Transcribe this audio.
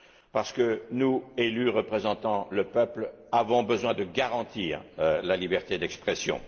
Parce que nous, élus représentant le peuple, avons besoin de garantir la liberté d'expression.